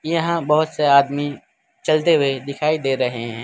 यहां बहोत से आदमी चलते हुए दिखाई दे रहे हैं।